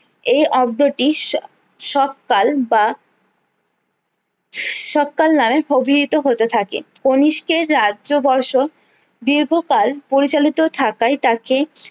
এই অব্দটিস সব কাল বা সবকাল নামে অভিহিত হতে থাকে কণিষ্কের রাজ্যবর্ষ দীর্ঘকাল পরিচালিত থাকায় তাকে